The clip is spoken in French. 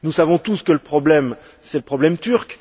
Nous savons tous que le problème, c'est le problème turc.